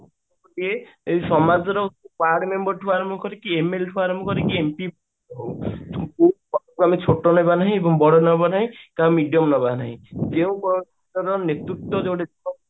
ଯେ ଏଇ ସମାଜର ward member ଠୁ ଆରମ୍ଭ କରିକି MLA ଠୁ ଆରମ୍ଭ କରିକି MP ଛୋଟ ନବା ନାହିଁ ବଡ ନବା କାହାକୁ medium ନବା ର ନାହିଁ ଯେଉଁ ନେତୃତ୍ଵ